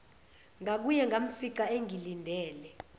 ngakuye ngamfica engilindele